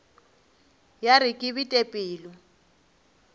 ya re ke bete pelo